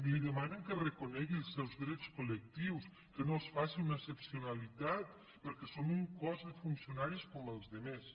li demanen que reconegui els seus drets col·lectius que no els faci una excepcionalitat perquè són un cos de funcionaris com els altres